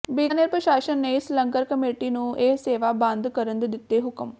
ਬੀਕਾਨੇਰ ਪ੍ਰਸ਼ਾਸਨ ਨੇ ਇਸ ਲੰਗਰ ਕਮੇਟੀ ਨੂੰ ਇਹ ਸੇਵਾ ਬੰਦ ਕਰਨ ਦੇ ਦਿੱਤੇ ਹੁਕਮ